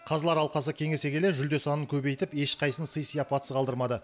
қазылар алқасы кеңесе келе жүлде санын көбейтіп ешқайсысын сый сияпатсыз қалдырмады